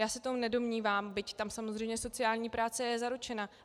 Já se to nedomnívám, byť tam samozřejmě sociální práce je zaručena.